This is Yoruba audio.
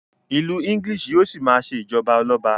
ilú English yíò sí ma ṣe ijọba Ọlọba